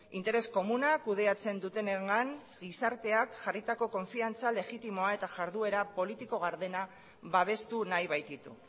interes komunak kudeatzen dutenengan gizarteak jarritako konfidantza legitimoa eta iharduera politiko gardena babestu nahi baititu